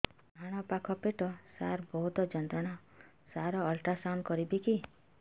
ଡାହାଣ ପାଖ ପେଟ ସାର ବହୁତ ଯନ୍ତ୍ରଣା ସାର ଅଲଟ୍ରାସାଉଣ୍ଡ କରିବି କି